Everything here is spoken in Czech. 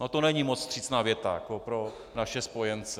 No, to není moc vstřícná věta pro naše spojence.